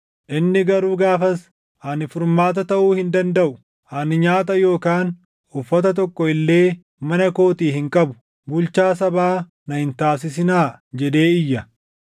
Inni garuu gaafas, “Ani furmaata taʼuu hin dandaʼu. Ani nyaata yookaan uffata tokko illee mana kootii hin qabu; bulchaa sabaa na hin taasisinaa” jedhee iyya.